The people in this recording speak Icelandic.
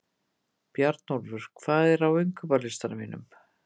Bjarnólfur, hvað er á innkaupalistanum mínum?